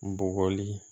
N bɔgɔli